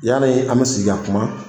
Yanni an bɛ sigi ka kuma